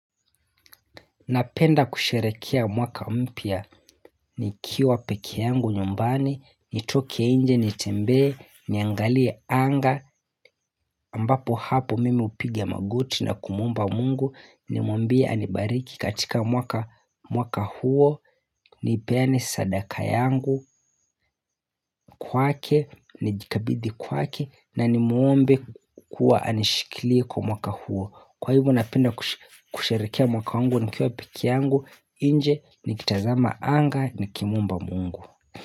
Napenda kusherekea mwaka mpya nikiwa pekee yangu nyumbani, nitoke nje nitembee, niangalie anga, ambapo hapo mimi hupiga magoti na kumuomba mungu, nimwambie anibariki katika mwaka huo, nipeane sadaka yangu, kwake, nijikabidhi kwake, na nimuombe kuwa anishikilie kwa mwaka huo. Kwa hivo napenda kusherekea mwaka wangu nikiwa pekee yangu nje, nikitazama anga nikimuomba mungu.